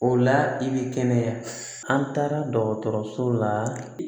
O la i bi kɛnɛya an taara dɔgɔtɔrɔso la